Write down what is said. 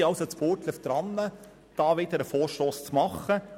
Wir sind in Burgdorf daran, erneut einen Vorstoss einzureichen.